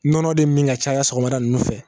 Nɔnɔ de min ka caya sɔgɔmada ninnu fɛ